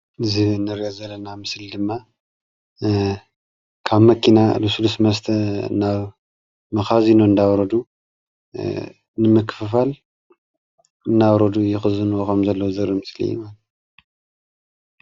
እዚ እንሪኦ ዘለና ምስሊ ድማ ካብ መኪና ልስሉስ መስተ ናብ መካዚኖ እንዳውረዱ ንምክፍፋል እናውረዱ ዝክዝንዎ ከም ዘለዉ ዘርኢ ምስሊ እዩ፡፡